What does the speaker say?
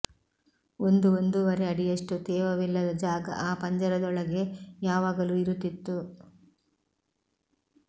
ಒಂದು ಒಂದೂವರೆ ಅಡಿಯಷ್ಟು ತೇವವಿಲ್ಲದ ಜಾಗ ಆ ಪಂಜರದೊಳಗೆ ಯಾವಾಗಲೂ ಇರುತ್ತಿತ್ತು